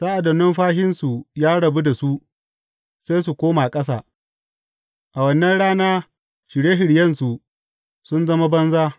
Sa’ad da numfashinsu ya rabu da su sai su koma ƙasa; a wannan rana shirye shiryensu sun zama banza.